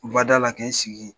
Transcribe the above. U ka da la k'e sigi yen.